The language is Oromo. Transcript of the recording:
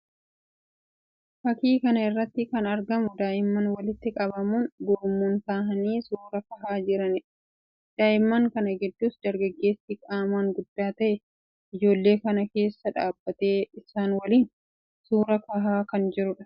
Fakkii kana irratti kan argamu daa'imman walitti qabamuun gurmuun tahanii suuraa kahaa jiranii dha. Daa'imman kana giddus dargaggeessi qaamaan guddaa tahe ijoollee kana keessa dhaabbatee isaan waliin suuraa kahaa kan jiruu dha.